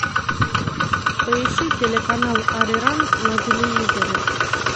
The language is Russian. поищи телеканал ариранг на телевизоре